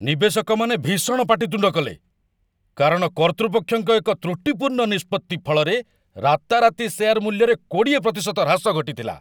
ନିବେଶକମାନେ ଭୀଷଣ ପାଟିତୁଣ୍ଡ କଲେ, କାରଣ କର୍ତ୍ତୃପକ୍ଷଙ୍କ ଏକ ତୃଟିପୂର୍ଣ୍ଣ ନିଷ୍ପତ୍ତି ଫଳରେ ରାତାରାତି ସେୟାର ମୂଲ୍ୟରେ ୨୦% ହ୍ରାସ ଘଟିଥିଲା।